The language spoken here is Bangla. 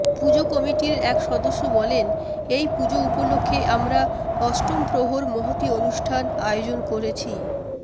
পুজো কমিটির এক সদস্য বলেন এই পুজো উপলক্ষে আমরা অষ্টমপ্রহর মহতি অনুষ্ঠান আয়োজন করেছি